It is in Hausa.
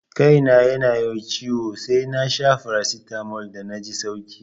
Kai na yana ciwo sai nasha faracitamol dan naji sauki